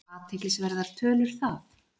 Athyglisverðar tölur það!